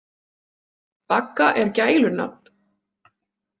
Bagga er gælunafn.